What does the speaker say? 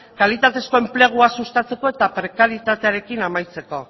kalitatezko enplegua sustatzeko eta prekarietatearekin amaitzeko